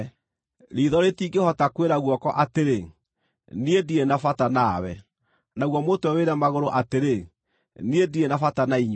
Riitho rĩtingĩhota kwĩra guoko atĩrĩ, “Niĩ ndirĩ na bata nawe!” Naguo mũtwe wĩre magũrũ atĩrĩ, “Niĩ ndirĩ na bata na inyuĩ!”